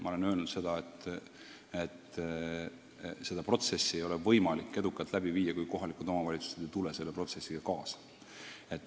Ma olen öelnud seda, et kogu protsessi ei ole võimalik edukalt läbi viia, kui kohalikud omavalitsused ei tule sellega kaasa.